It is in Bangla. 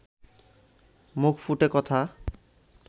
মুখ ফুটে কথা